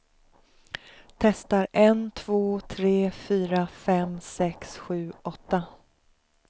Testar en två tre fyra fem sex sju åtta.